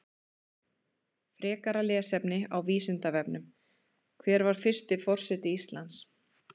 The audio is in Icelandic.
Frekara lesefni á Vísindavefnum: Hver var fyrsti forseti Íslands?